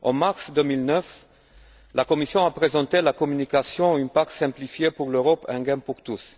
En mars 2009, la Commission a présenté la communication Une PAC simplifiée pour l'Europe Un gain pour tous.